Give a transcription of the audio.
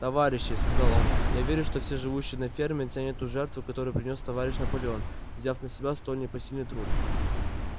товарищи сказал он я верю что все живущие на ферме ценят ту жертву которую принёс товарищ наполеон взяв на себя столь непосильный труд